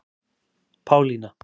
Pálína